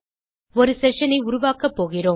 ஒரு செஷன் ஐ உருவாக்கப்போகிறோம்